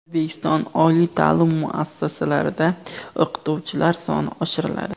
O‘zbekiston oliy ta’lim muassasalarida o‘qituvchilar soni oshiriladi.